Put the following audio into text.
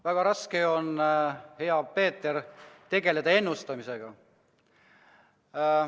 Väga raske on, hea Peeter, tegeleda ennustamisega.